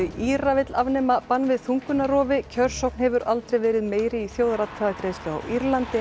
Íra vill afnema bann við þungunarrofi kjörsókn hefur aldrei verið meiri í þjóðaratkvæðagreiðslu á Írlandi en